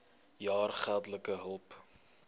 jaar geldelike hulp